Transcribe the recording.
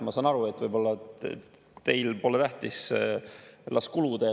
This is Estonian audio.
Ma saan aru, et võib‑olla teile pole see tähtis, las kulub.